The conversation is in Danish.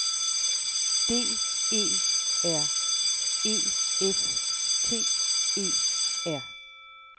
D E R E F T E R